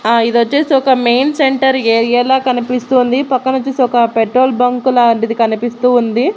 ఆ ఇది వచ్చేసి ఒక మెయిన్ సెంటర్ ఏరియాలా కనిపిస్తుంది పక్కన వచ్చేసి ఒక పెట్రోల్ బంకు లాంటిది కనిపిస్తూ ఉంది.